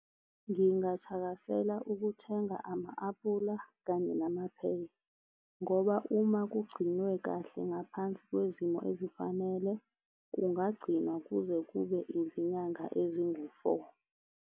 Ngingathakasela ukuthenga ama-aphula kanye namapheya. Ngoba uma kugcinwe kahle ngaphansi kwezimo ezifanele kungagcinwa kuze kube izinyanga ezingu-four.